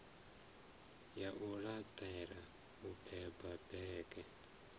ya luṱere o beba bege